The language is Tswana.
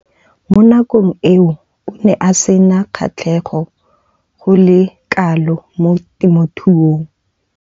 Mo nakong eo o ne a sena kgatlhego go le kalo mo temothuong.